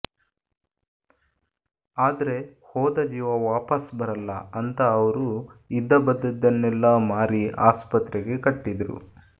ಆದ್ರೆ ಹೋದ ಜೀವ ವಾಪಸ್ ಬರಲ್ಲ ಅಂತಾ ಅವ್ರು ಇದ್ದಬದ್ದದ್ದನ್ನೆಲ್ಲಾ ಮಾರಿ ಆಸ್ಪತ್ರೆಗೆ ಕಟ್ಟಿದ್ರು